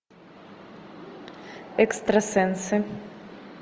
экстрасенсы